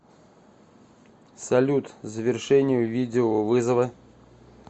салют завершение видеовызова